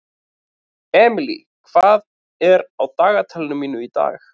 Emely, hvað er á dagatalinu mínu í dag?